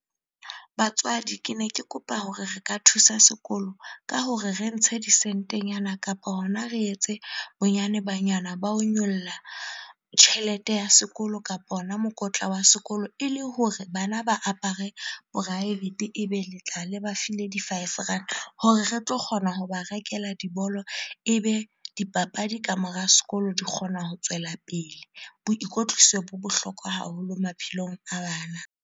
Batswadi, kene ke kopa hore re ka thusa sekolo ka hore re ntshe disentenyana kapa hona re etse bonyane banyana ba ho nyolla tjhelete ya sekolo kapa ona mokotla wa sekolo, ele hore bana ba apare profaefete. Ebe le tla le ba file di- five rand hore re tlo kgona ho ba rekela dibolo, ebe dipapadi ka mora sekolo di kgona ho tswela pele. Boikotliso bo bohlokwa haholo maphelong a bana.